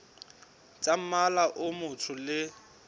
tsa mmala o motsho le